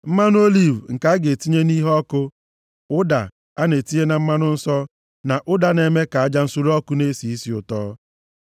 mmanụ oliv nke a ga-etinye nʼiheọkụ, ụda a na-etinye na mmanụ nsọ, na ụda na-eme ka aja nsure ọkụ na-esi isi ụtọ;